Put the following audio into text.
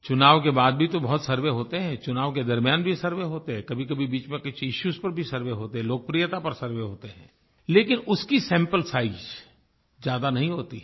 चुनाव के बाद भी तो बहुत सर्वे होते हैं चुनाव के दरम्यान भी सर्वे होते हैं कभीकभी बीच में कुछ इश्यूज पर भी सर्वे होते हैं लोकप्रियता पर सर्वे होते हैं लेकिन उसकी सैंपल साइज ज्यादा नहीं होती है